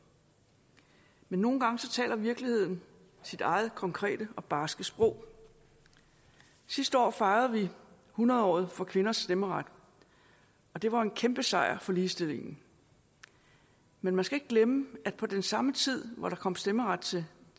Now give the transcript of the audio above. men nogle gange taler virkeligheden sit eget konkrete og barske sprog sidste år fejrede vi hundredåret for kvinders stemmeret og det var jo en kæmpesejr for ligestillingen men man skal ikke glemme at på den samme tid hvor der kom stemmeret til